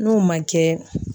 N'o man kɛ